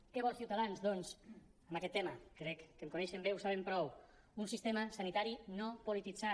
què vol ciutadans doncs en aquest tema crec que em coneixen bé ho saben prou un sistema sanitari no polititzat